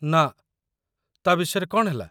ନା, ତା' ବିଷୟରେ କ'ଣ ହେଲା?